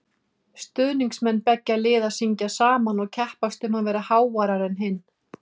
Stuðningsmenn beggja liða syngja saman og keppast um að vera háværari en hinn.